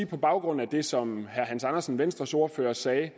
på baggrund af det som herre hans andersen venstres ordfører sagde